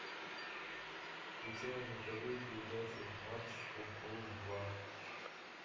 включай на тв передачу матч футбол два